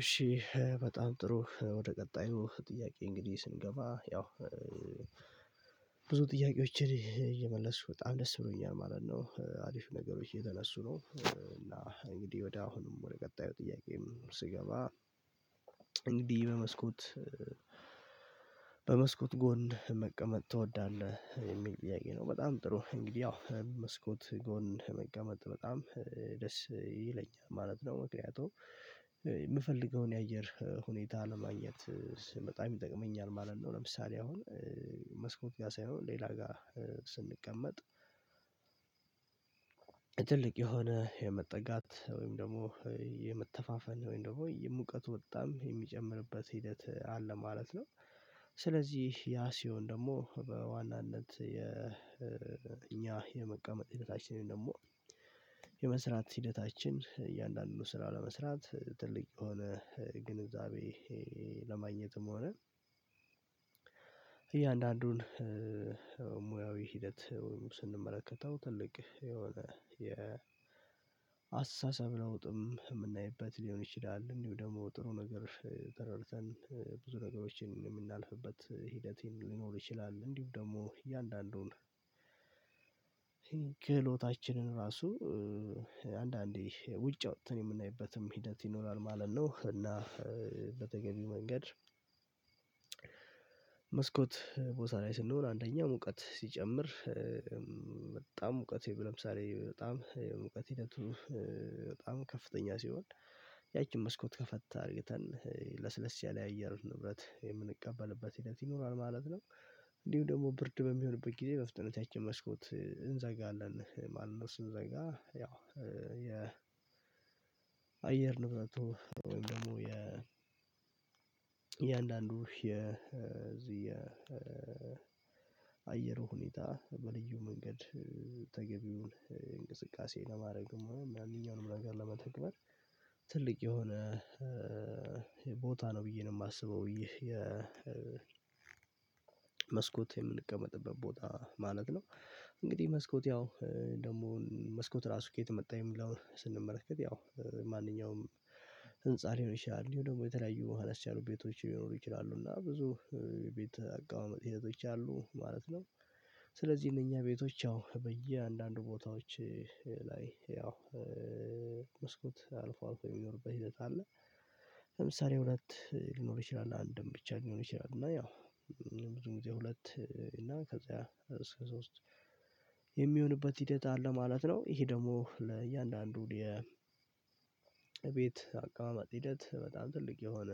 እሺ በጣም ጥሩ ወደ ቀጣዩ ጥያቄ እንግዲህ ስንገባ ያው ጥያቄዎችን እየመለስኩ በጣም ደስ ብሎኛል ማለት ነው። አሪፍ ነገሮች እየተነሱ ነው። እና እንግዲህ ወደ አሁንም ወደ ቀጣዩ ጥያቄም ስገባ እንግዲህ በመስኮት በመስኮት ጎን መቀመጥ ትወዳለህ? የሚል ጥያቄ ነው። በጣም ጥሩ እንግዲህ ያው መስኮት ጎን መቀመጥ በጣም ደስ ይለኛል ማለት ነው። ምክንያቱም የምፈልገውን የአየር ሁኔታ ለማግኘት በጣም ይጠቅመኛል ማለት ነው። ለምሳሌ አሁን መስኮት ጋር ሳይሆን ሌላ ጋር ስንቀመጥ ትልቅ የሆነ የመጠጋት ወይም ደግሞ የመተፋፈን ወይም ደግሞ የሙቀቱ በጣም የሚጨምርበት ሂደት አለ ማለት ነው። ስለዚህ ያ ሲሆን ደግሞ በዋናነት የ እኛ የመቀምጥ ሂደታችንን ደግሞ የመስራት ሂደታችን እያንዳንዱ ስራ ለመስራት ትልቅ የሆነ ግንዛቤ ለማግኘትም ሆነ እያንዳንዱን ሙያዊ ሂደት ስንመለከተው ትልቅ የሆነ የአስተሳሰብ ለውጥም የምናይበት ሊሆን ይችላል። እንዲሁ ደግሞ ጥሩ ነገር ተረድተን ብዙ ነገሮችን የምናልፍበት ሂደት ሊኖር ይችላል። እንዲሁ ደግሞ እያንዳንዱን ክህሎታችንን ራሱ አንዳንዴ ውጭ አውጥተን የምናይበትም ሂደት ይኖራል ማለት ነው። እና በተገቢው መንገድ መስኮት ቦታ ላይ ስንሆን አንደኛ ሙቀት ሲጨምር በጣም ሙቀት ለምሳሌ በጣም የሙቀት ሂደቱ በጣም ከፍተኛ ሲሆን ያቺን መስኮት ከፈት አድርገን ለስለስ ያለ የአየር ንብረት የምንቀበልበት ሂደት ይኖራል ማለት ነው። እንዲሁ ደግሞ ብርድ በሚሆንበት ጊዜ በፍጥነት ያችን መስኮት እንዘጋለን ማለት ነው። ስንዘጋ ያው የ አየር ንብረቱ ወይም ደግሞ የ የእያንዳንዱ የ እዚህ የ ሁኔታ በልዩ መንገድ ተገቢውን እንቅስቃሴ ለማድረግም ሆነ ማንኛውንም ነገር ለመተግበር ትልቅ የሆነ ቦታ ነው ብዬ ነው የማስበው ይሄ የ የመስኮት የምንቀመጥበት ቦታ ማለት ነው። እንግዲህ መስኮት ያው ደግሞ መስኮት ራሱ ከየት መጣ የሚለውን ስንመረከት ያው ማንኛውም ህንፃ ሊሆን ይችላል እንዲሁ ደግሞ የተለያዩ አነስ ያሉ ቤቶች ሊኖሩ ይችላሉ እና ብዙ የቤት አቀማመጥ ሂደቶች አሉ ማለት ነው። ስለዚህ እነኛ ቤቶች ያው በየአንዳንዱ ቦታዎች ላይ ያው መስኮት አልፎ አልፎ የሚኖርበት ሂደት አለ። ለምሳሌ ሁለት ሊኖር ይችላል፤ አንድም ብቻ ሊሆን ይችላል። እና ያው ብዙ ጊዜ ሁለት እና ከዛ እስከ ሶስት የሚሆንበት ሂደት አለ ማለት ነው። ይሄ ደግሞ ለእያንዳንዱ የ ቤት አቀማማጭ ሂደት በጣም ትልቅ የሆነ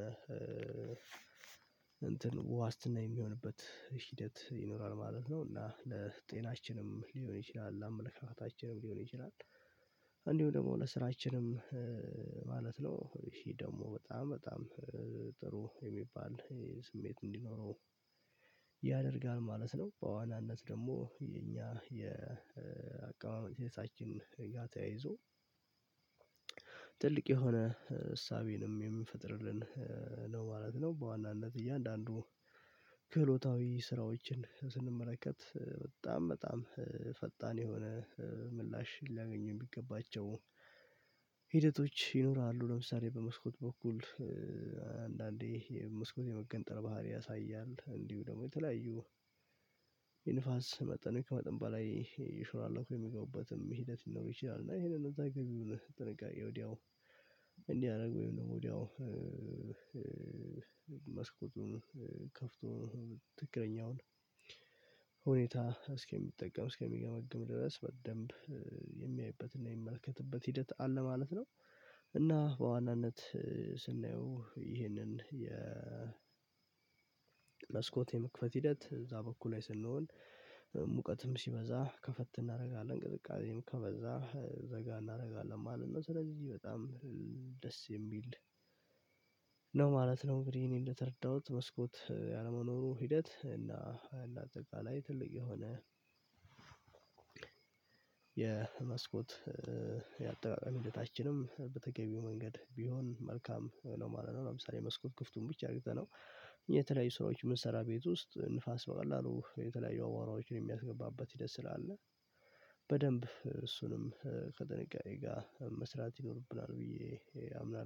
እንትን ዋስትና የሚሆንበት ሂደት ይኖራል ማለት ነው። እና ለጤናችንም ሊሆን ይችላል፣ ለአመለካከታችንም ሊሆን ይችላል፣ እንዲሁ ደግሞ ለስራችንም ማለት ነው። ይሄ ደግሞ በጣም በጣም ጥሩ የሚባል ስሜት እንዲኖረው ያደርጋል ማለት ነው። በዋናነት ደግሞ የኛ የአቀማመጥ ሂደታችን ጋ ተያይዞ ትልቅ የሆነ እሳቤንም የሚፈጥርልን ነው ማለት ነው። በዋናነት እያንዳንዱ ክህሎታዊ ስራዎችን ስንመለከት በጣም በጣም ፈጣን የሆነ ምላሽ ሊያገኙ የሚገባቸው ሂደቶች ይኖራሉ። ለምሳሌ በመስኮት በኩል አንዳንዴ የመስኮት የመገንጠል ባህሪ ያሳያል። እንዲሁ ደግሞ የተለያዩ የንፋስ መጠን ከመጠን በላይ እየሾላለኩ የሚገቡበትም ሂደት ሊኖር ይችላል። እና ይሄንን ተገቢውን ጥንቃቄ ወዲያው እንዲያደርጉ ወይም ደግሞ ወዲያው መስኮቱን ከፍቶ ትክክለኛውን ሁኔታ እስኪጠቀም እስኪገመግም ድረስ በደንብ የሚያይበትና የሚመልከትበት ሂደት አለ ማለት ነው። እና በዋናነት ስናየው ይህንን የመስኮት መስኮት የመክፈት ሂደት እዛ በኩል ላይ ስንሆን ሙቀትም ሲበዛ ከፈት እናደርጋለን። ቅዝቃዜም ከበዛ ዘጋ እናደርጋለን ማለት ነው። ስለዚህ በጣም ደስ የሚል ማለት ነው። እንግዲህ ይሄን እንደተረዳሁት መስኮት ያለመኖሩ ሂደት እና አጠቃላይ ትልቅ የሆነ የመስኮት የአጠቃቀም ሂደታችንም በተገቢው መንገድ ቢሆን መልካም ነው ማለት ነው። ለምሳሌ መስኮት ክፍቱን ብቻ አርግተነው የተለያዩ ሰዎች መስሪያ ቤት ውስጥ ንፋስ በቀላሉ የተለያዩ አቧራዎችን የሚያስገባበት ሂደት ስላለ በደንብ እሱንም ከጥንቃቄ ጋር መስራት ይኖርብናል ብዬ አምናለሁ።